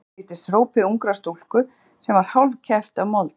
Eitthvað sem líktist hrópi ungrar stúlku sem var hálfkæft af mold.